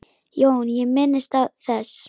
JÓN: Ég minnist þess.